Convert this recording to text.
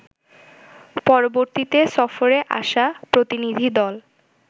পরববর্তীতে সফরে আসা প্রতিনিধি দল